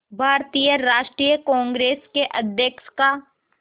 भारतीय राष्ट्रीय कांग्रेस के अध्यक्ष का